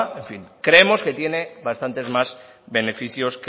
creemos que tiene bastantes más benéficos